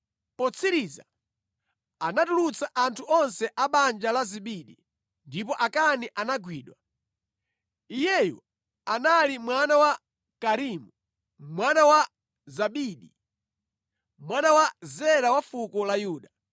Potsiriza anatulutsa anthu onse a banja la Zabidi ndipo Akani anagwidwa. Iyeyu anali mwana wa Karimi, mwana wa Zabidi, mwana wa Zera wa fuko la Yuda.